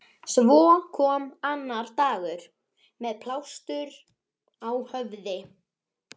Svo kom annar dagur- með plástur á höfði.